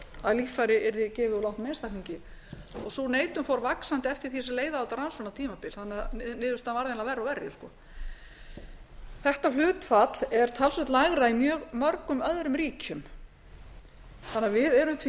að líffæri yrði gefið úr látnum einstaklingi sú neitun fór vaxandi eftir því sem leið á þetta rannsóknartímabilið þannig að niðurstaðan varð eiginlega verri og verri þetta hlutfall er talsvert lægra en í mjög mörgum öðrum ríkjum þannig að við erum því